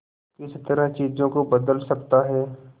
किस तरह चीजों को बदल सकता है